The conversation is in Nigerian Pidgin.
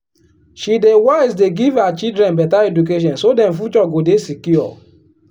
she dey wise dey give her children beta education so dem future go dey secure.